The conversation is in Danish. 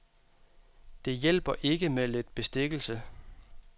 Det hjælper ikke med lidt bestikkelse.